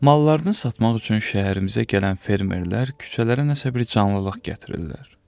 Mallarını satmaq üçün şəhərimizə gələn fermerlər küçələrə nəsə bir canlılıq gətirirlər.